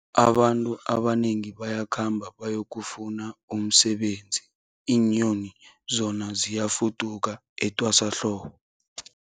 Abantu abanengi bayakhamba bayokufuna umsebenzi, iinyoni zona ziyafuduka etwasahlobo.